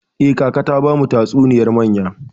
Eh, kaka ta bamu tatsuniyar mayya.